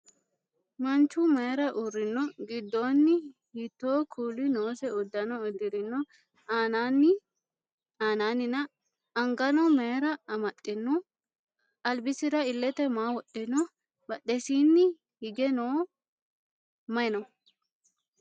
Manchu mayiira uurrino? Giddoonni hiitto kuuli noose uddano uddirino? Aanannina? Angano mayiira amaxxino? Albisira illete maa wodhino? Badhesiinni higeno mayi no?